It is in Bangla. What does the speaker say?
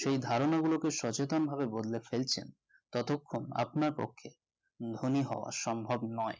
সেই ধারণা গুলোকে সচেতনভাবে বদলে ফেলছেন ততক্ষণ আপনার পক্ষে ধনী হওয়া সম্ভব নয়